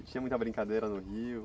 Tinha muita brincadeira no rio?